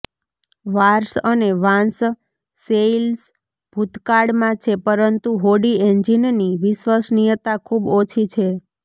wars અને વાંસ sails ભૂતકાળમાં છે પરંતુ હોડી એન્જિનની વિશ્વસનીયતા ખૂબ ઓછી છે